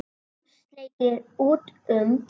Hann sleikir út um.